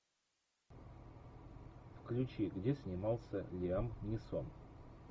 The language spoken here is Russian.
включи где снимался лиам нисон